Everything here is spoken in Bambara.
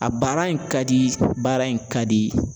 A baara in ka di baara in ka di.